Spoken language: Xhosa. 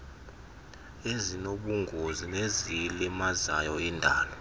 ezinobungozi neziyilimazayo indalo